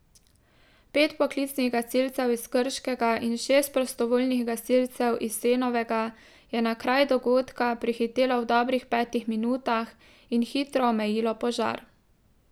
Pet poklicnih gasilcev iz Krškega in šest prostovoljnih gasilcev iz Senovega je na kraj dogodka prihitelo v dobrih petih minutah in hitro omejilo požar.